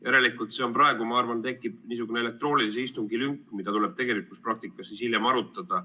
Järelikult praegu tekib niisugune elektroonilise istungi lünk, mida tuleb siis hiljem arutada.